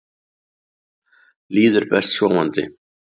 Líður best sofandi.